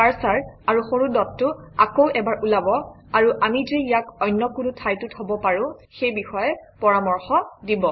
cursor আৰু সৰু ডটটো আকৌ এবাৰ ওলাব আৰু আমি যে ইয়াক অন্য কোনো ঠাইতো থব পাৰোঁ সেই বিষয়ে পৰামৰ্শ দিব